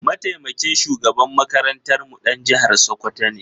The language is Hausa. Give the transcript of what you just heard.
Mataimakin shugaban makarantarmu ɗan jihar Sokoto ne.